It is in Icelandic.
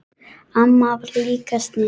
Amma var líka sniðug.